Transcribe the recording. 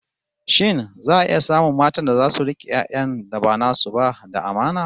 Shin za'a iya samun matan da zasu rike 'yan'yan da ba nasu ba da amana?